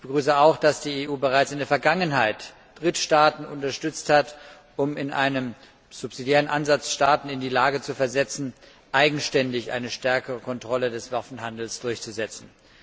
Ich begrüße auch, dass die EU bereits in der Vergangenheit Drittstaaten unterstützt hat, um in einem subsidiären Ansatz Staaten in die Lage zu versetzen, eigenständig eine stärkere Kontrolle des Waffenhandels durchzusetzen.